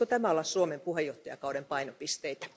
Voisiko tämä olla Suomen puheenjohtajakauden painopisteitä?